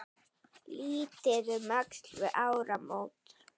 Litið um öxl við áramót.